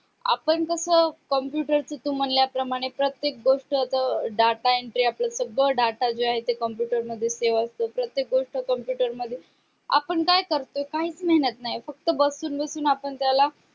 आपण कस computer च तू म्हणाल्या प्रमाणे प्रत्येक गोष्ट त data entry आपलं सगळं data जे आहे ते computer मध्ये save असत प्रत्येक गोष्ट computer मध्ये आपण काय करतो काहीच मेहनत नाही फक्त बसून बसून आपण त्याला